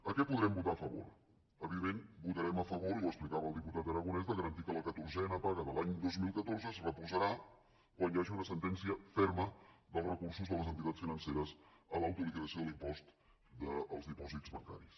a què podrem votar a favor evidentment votarem a favor i ho explicava el diputat aragonès de garantir que la catorzena paga de l’any dos mil catorze es reposarà quan hi hagi una sentència ferma dels recursos de les entitats financeres a l’autoliquidació de l’impost dels dipòsits bancaris